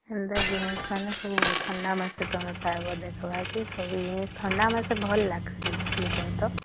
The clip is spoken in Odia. ସେଣ୍ଟ ଜିନିଷ ମାନେ ସବୁ ଥଣ୍ଡା ମାସ ରେ ପାଇବା ଥଣ୍ଡା ମାସେ ଭଲ ଲାଗିଁସେ କଣ କହାତ